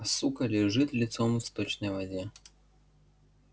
а сука лежит лицом в сточной воде